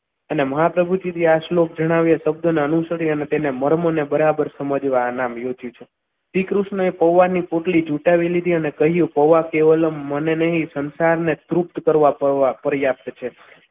એની મહાભૂતિથી આ શ્લોક જણાવ્યું શબ્દના અનુસરીને મરમો ને બરાબર સમજવાના આ યોજના છે શ્રીકૃષ્ણએ પૌવાની પોટલી ઝૂંટાવી લીધી અને કહ્યું પૌવા કે ઓલમ મને નહીં સંસારને તૃપ્ત કરવા ફરીયાદ છે.